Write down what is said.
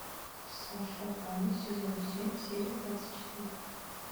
саша таня сезон семь серия двадцать четыре